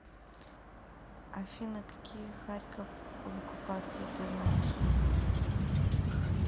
афина какие харьков в оккупации ты знаешь